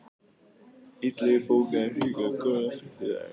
Illugi, bókaðu hring í golf á fimmtudaginn.